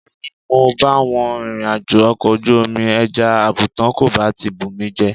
Ká ní mo bá wọn rìnrìnàjò ọkọ̀ ojú omi ẹja àbùùùtán kò bá ti fi mí jẹ.